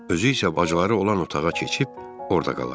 Özü isə bacıları olan otağa keçib orda qalar.